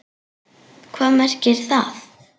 Hvað merkir það?!